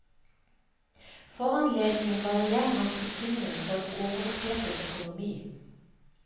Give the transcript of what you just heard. Foranledningen var igjen hans bekymring for en overopphetet økonomi.